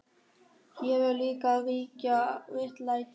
Hér verður líka að ríkja réttlæti.